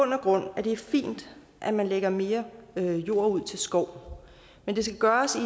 grund at det er fint at man lægger mere jord ud til skov men det skal gøres